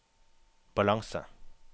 balanse